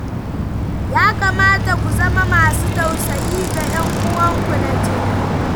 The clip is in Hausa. Ya kamata ku zama masu tausayi ga 'yanuwanku na jini.